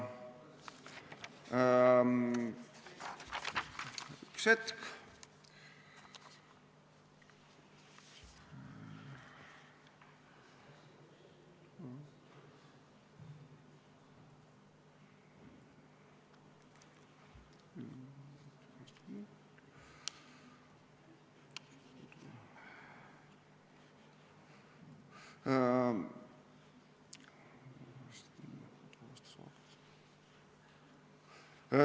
Üks hetk.